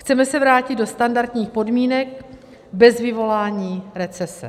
Chceme se vrátit do standardních podmínek bez vyvolání recese.